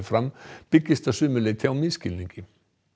fram byggist að sumu leyti á misskilningi